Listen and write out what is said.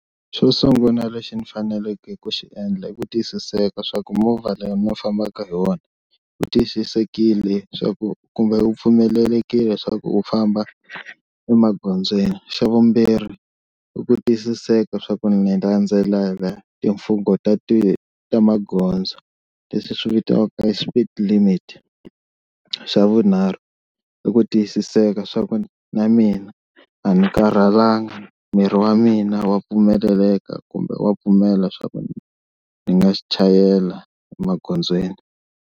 Xo sungula lexi ni faneleke ku xi endla i ku tiyisiseka swa ku movha leyi mi fambaka hi wona wu tiyisisekile swa ku kumbe u pfumelelekile leswaku wu famba emagondzweni, xa vumbirhi i ku tiyisiseka swa ku ni timfungho ta ti ta magondzo leswi swi vitaniwaka speed limit, xa vunharhu i ku tiyisiseka swa ku na mina a ni karhalangi miri wa mina wa pfumeleleka kumbe wa pfumela swa ku ni nga chayela emagondzweni.